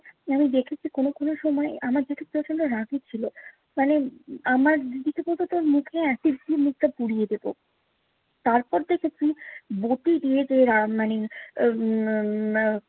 আমি দেখেছি কোনো কোনো সময় আমার জেঠু প্রচন্ড রাগি ছিলো। মানে আমার দিদিকে বলতো তোর মুখ না এসিড দিয়ে মুখটা পুড়িয়ে দিবো। তারপর দেখেছি বটি দিয়ে দিয়ে রাগ মানে উম